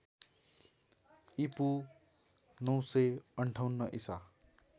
ईपू ९५८ ईसा